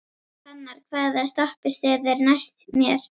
Hrannar, hvaða stoppistöð er næst mér?